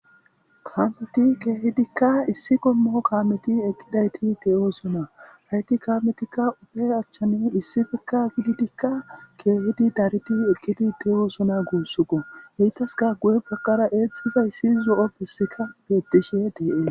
kaameti keehidikka issi qommo kaameti eqqidayti de7oosona hayti kaametikka ufe achchani issi bekka gididikka keehidi daridi eqkidi de7oosona guussukko heytaska guye baqara eexxizay issi zo7o bessika beettishe deee